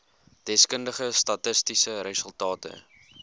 deskundige statistiese resultate